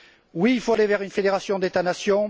Oui, il faut aller vers une fédération d'États nations.